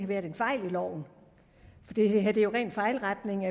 været fejl i loven for det er jo ren fejlretning